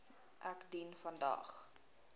ek dien vandag